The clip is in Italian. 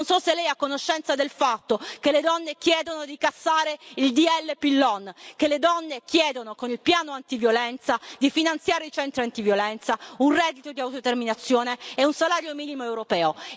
Non so se Lei è a conoscenza del fatto che le donne chiedono di cassare il DDL Pillon, che le donne chiedono con il piano antiviolenza di finanziare i centri antiviolenza, un reddito di autodeterminazione e un salario minimo europeo.